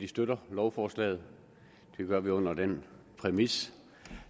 støtter lovforslaget det gør vi under den præmis